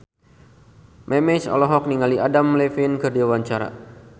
Memes olohok ningali Adam Levine keur diwawancara